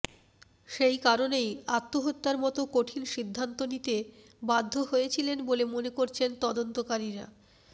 সেই কারণেই আত্মহত্যার মতো কঠিন সিদ্ধান্ত নিতে বাধ্য হয়েছিলেন বলে মনে করছেন তদন্তকারীরা